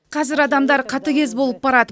қазір адамдар қатыгез болып барады